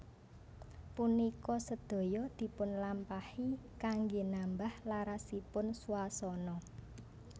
Punika sedaya dipunlampahi kanggé nambah larasipun swasana